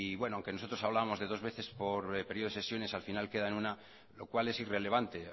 aunque nosotros hablábamos de dos veces por periodo de sesiones al final queda en una lo cual es irrelevante